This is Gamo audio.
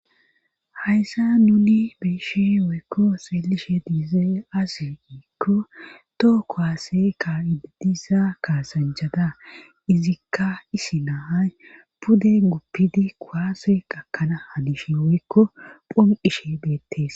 Hayssa nuni be7ishin woykko xeelishin diizee aase iikko too kowaase ka iidisa kaasanjhada izikka isi naahay pude guppidi kowaase qakana hadishe woykko phum qishe beettes.